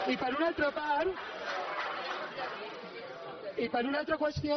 i per una altra part i per una altra qüestió